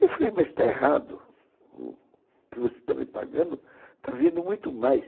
Eu falei, mas está errado, o que você está me pagando está vindo muito mais.